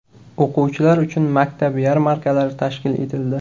O‘quvchilar uchun maktab yarmarkalari tashkil etildi.